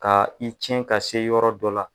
Ka i ciɲɛ ka se yɔrɔ dɔ la.